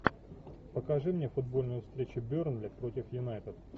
покажи мне футбольную встречу бернли против юнайтед